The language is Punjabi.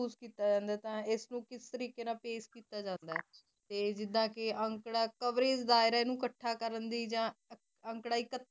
ਕਿਸ ਤਰੀਕੇ ਨਾਲ ਇਕਤਰ ਕਿੱਤਾ ਜਾਂਦਾ ਹੈ ਆ ਕਿਥੇ USE ਕਿੱਤਾ ਜਾਂਦਾ ਹੈ ਇਸ ਨੂੰ ਤੇ ਕਿਸ ਤਰੀਕੇ ਨਾਲ ਪੀਏਅਸ ਕਿੱਤਾ ਜਾਂਦਾ ਹੈ ਤੇ ਜ਼ੀਰਾ ਅੰਕੜਾ ਇਕੱਤਰ ਜਾਇ ਦੀ